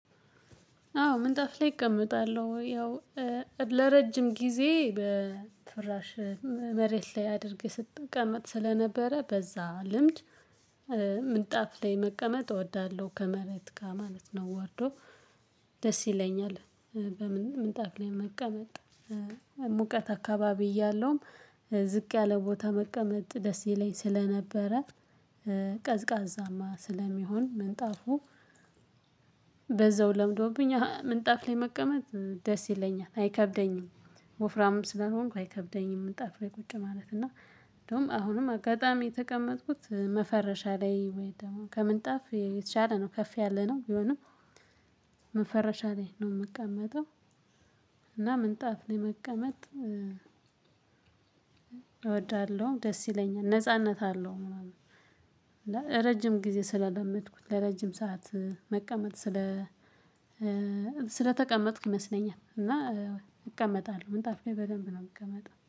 አዎ ምንጣፍ ላይ እቀመጣለሁ ያው ለረጅም ጊዜ በፍራሽ መሬት ላይ አድርጌ ስቀመጥ ስለነበረ በዛ ልምድ። ምንጣፍ ላይ መቀመጥ እወዳለሁ ከመሬት ጋር ማለት ነው። ወርዶ ደስ ይለኛል። በምን ምንጣፍ ላይ መቀመጥ ሙቀት አካባቢ ያለውም ዝቅ ያለ ቦታ መቀመጥ ደስ ይለኝ ስለነበረ። ቀዝቃዛማ ስለሚሆን ምንጣፉ። በዛው ለምዶብኛ ምንጣፍ ላይ መቀመጥ ደስ ይለኛል አይከብደኝም። ወፍራም ስለሆንኩ አይከብደኝም ምንጣፍ ላይ ቁጭ ማለት ነው። እንደውም አሁንም አጋጣሚ የተቀመጥኩት መፈረሻ ላይ ወይም ደግሞ ከምንጣፍ የተሻለ ነው ከፍ ያለነው ቢሆንም መፈረሻ ላይ ነው የምቀመጠው። እና ምንጣፍ ለመቀመጥ እወዳለሁ ደስ ይለኛል ነጻነት አለው ምናምን። ረጅም ጊዜ ስለለመድኩት ለረጅም ሰዓት መቀመጥ ስለ ስለተቀመጥኩ ይመስለኛል። እና እቀመጣለሁ ምንጣፍ ላይ በደንብ ነው የምቀመጠው